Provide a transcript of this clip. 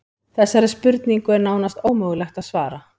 Þessari spurningu er nánast ómögulegt að svara.